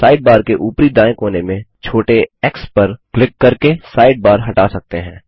side bar के ऊपरी दाएँ कोने में छोटे एक्स पर क्लिक करके साइड बार हटा सकते हैं